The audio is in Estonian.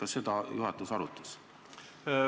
Kas seda juhatus arutas?